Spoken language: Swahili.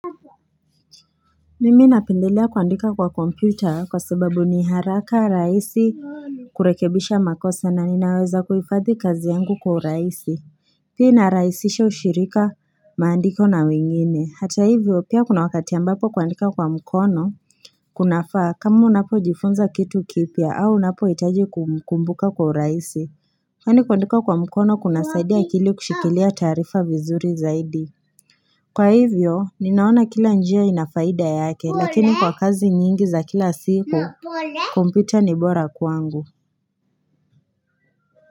Mimi napendelea kuandika kwa kompyuta kwa sababu ni haraka rahisi kurekebisha makosa na ninaweza kuhifadhi kazi yangu kwa urahisi pia inarahisisha ushirika maandiko na wengine hata hivyo pia kuna wakati ambapo kuandika kwa mkono Kuna faa kama unapo jifunza kitu kipya au unapo hitaji kukumbuka kwa urahisi yani kuandika kwa mkono kuna saidia akili kushikilia taarifa vizuri zaidi Kwa hivyo, ninaona kila njia inafaida yake, lakini kwa kazi nyingi za kila siku, kompyuta ni bora kwangu.